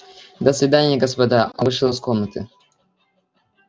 до свидания господа он вышел из комнаты